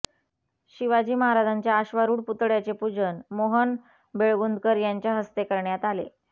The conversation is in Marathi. शिवाजी महाराजांच्या अश्वारुढ पुतळ्याचे पूजन मोहन बेळगुंदकर यांच्या हस्ते करण्यात आले